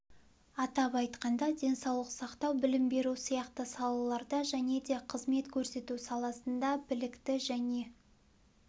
атап айтқанда денсаулық сақтау білім беру сияқты салаларда және де қызмет көрсету саласында білікті және